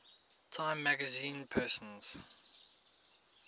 time magazine persons